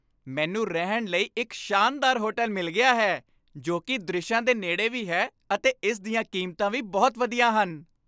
ਮੈਨੂੰ ਰਹਿਣ ਲਈ ਇੱਕ ਸ਼ਾਨਦਾਰ ਹੋਟਲ ਮਿਲ ਗਿਆ ਹੈ ਜੋ ਕਿ ਦ੍ਰਿਸ਼ਾਂ ਦੇ ਨੇੜੇ ਵੀ ਹੈ ਅਤੇ ਇਸ ਦੀਆਂ ਕੀਮਤਾਂ ਵੀ ਬਹੁਤ ਵਧੀਆ ਹਨ।